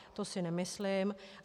To si nemyslím.